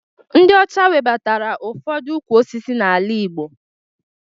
Ndị ọcha webatara ụfọdụ ukwu osisi n'ala Igbo